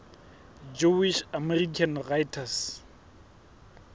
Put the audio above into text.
jewish american writers